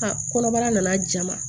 A kɔnɔbara nana jama